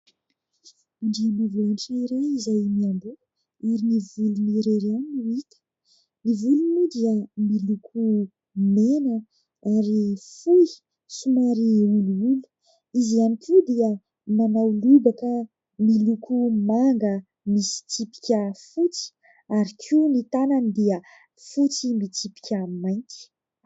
Andriambavilanitra iray izay miamboho ary ny volony irery ihany no hita. Ny volony moa dia miloko mena ary fohy somary olioly. Izy ihany koa dia manao lobaka miloko manga misy tsipika fotsy ary koa ny tanany dia fotsy mitsipika mainty.